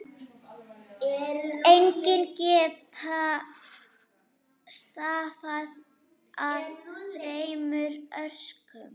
Einkennin geta stafað af þremur orsökum.